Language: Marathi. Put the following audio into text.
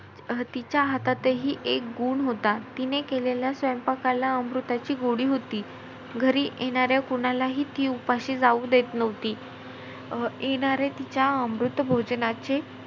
तिच्या हातातही एक गुण होता. तिने केलेल्या स्वयपांकाला अमृताची गोडी होती. घरी येणाऱ्या कोणालाही ती उपाशी जाऊ देत नव्हती. अं येणारे तिच्या अमृतभोजनाचे,